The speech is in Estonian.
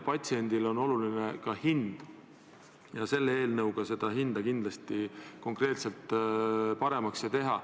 Patsiendile on oluline ka hind ja selle eelnõuga hindu kindlasti paremaks ei tehta.